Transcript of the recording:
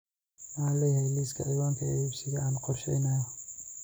Ma leeyahay liiska ciwaanka ee xisbiga aan qorsheynayo?